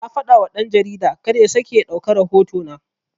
Na fadawa dan-jarida karya sake ya ɗauka rahoto na